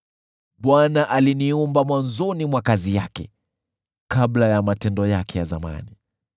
“ Bwana aliniumba mwanzoni mwa kazi yake, kabla ya matendo yake ya zamani;